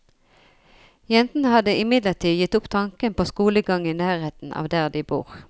Jentene har imidlertid gitt opp tanken på skolegang i nærheten av der de bor.